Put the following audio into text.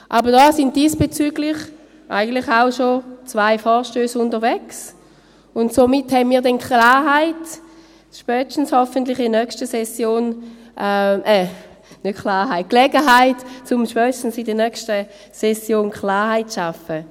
Aber diesbezüglich sind eigentlich auch schon zwei Vorstösse unterwegs, und somit werden wir hoffentlich spätestens in der nächsten Session Gelegenheit haben, Klarheit zu schaffen.